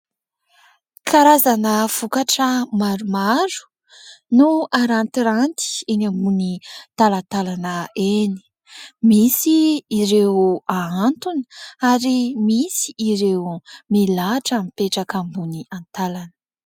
Karazana vokatra maromaro no arantiranty eny ambony talatalana eny, misy ireo ahantona ary misy ireo milahatra mipetraka ambony antalana.